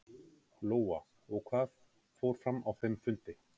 Lóa: Og hvað fór fram á þeim fundi?